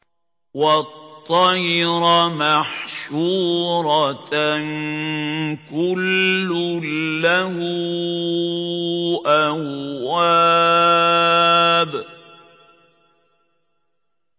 وَالطَّيْرَ مَحْشُورَةً ۖ كُلٌّ لَّهُ أَوَّابٌ